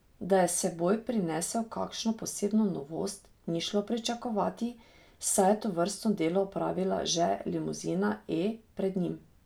Da je s seboj prinesel kakšno posebno novost, ni šlo pričakovati, saj je tovrstno delo opravila že limuzina E pred njim.